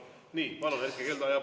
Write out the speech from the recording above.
Nii, palun, Erkki Keldo!